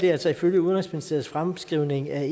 er altså ifølge udenrigsministeriets fremskrivning af